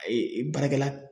baarakɛla